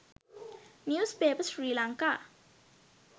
newspaper srilanka